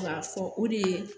K'a fɔ o de ye